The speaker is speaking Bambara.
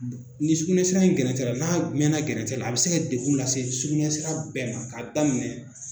Ni sukunɛ sira in gɛrɛntɛra n'a mɛna gɛrɛntɛ la a bɛ se ka dekun lase sugunɛ sira bɛɛ ma k'a daminɛ